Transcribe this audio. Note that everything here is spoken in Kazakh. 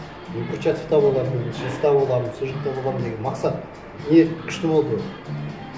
мен курчатовта болатынмын боламын сол жақта боламын деген мақсат ниет күшті болды ғой